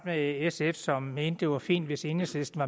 med sf som mente det var fint hvis enhedslisten